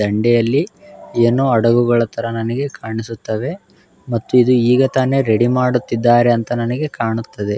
ದಂಡೆಯಲ್ಲಿ ಏನು ಹಡಗುಗಳ ತರ ನಮಗೆ ಕಾಣಿಸುತ್ತದೆ ಮತ್ತೆ ಇದು ಈಗ ತಾನೆ ರೆಡಿ ಮಾಡುತ್ತಿದ್ದಾರೆ ಎಂದು ನನಗೆ ಕಾಣುತ್ತದೆ.